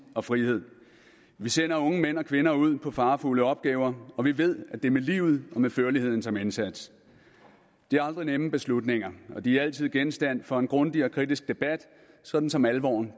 og frihed vi sender unge mænd og kvinder ud på farefulde opgaver og vi ved at det er med livet og med førligheden som indsats det er aldrig nemme beslutninger og de er altid genstand for en grundig og kritisk debat sådan som alvoren